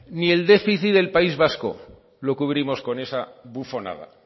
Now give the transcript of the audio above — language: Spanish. ni el déficit del país vasco lo cubrimos con esa bufonada